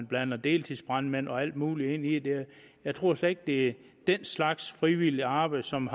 blander deltidsbrandmænd og alt muligt ind i det jeg tror slet ikke det er den slags frivilligt arbejde som